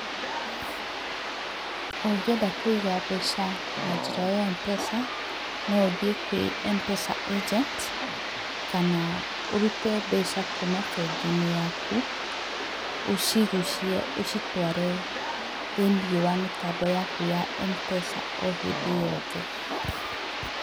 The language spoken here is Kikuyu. Ũngĩenda kũiga mbeca na njĩra ya Mpesa, no ũthiĩ kwĩ Mpesa Agenti kana ũrute mbeca kuma bengi-inĩ yaku ũcigucie ũcitware thĩinĩ wa mĩtambo yaku ya Mpesa o hĩndĩ o yothe.